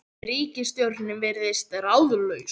Ríkisstjórnin virðist ráðalaus